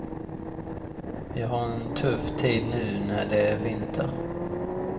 Vi har en tuff tid nu när det är vinter.